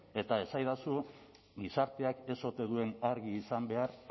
eta esaidazu gizarteak ez ote duen argi izan behar